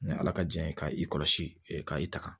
Ni ala ka diɲɛ ye k'i kɔlɔsi ka i taga